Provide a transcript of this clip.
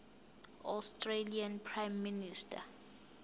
australian prime minister